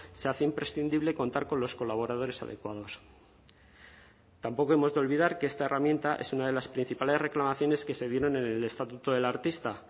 se hace imprescindible contar con los colaboradores adecuados tampoco hemos de olvidar que esta herramienta es una de las principales reclamaciones que se dieron en el estatuto del artista